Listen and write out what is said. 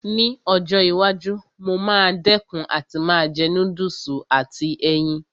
Ní ọjọ́ iwájú, mo máa dẹ̀kun àti máa jẹ núdùsì àti ẹyin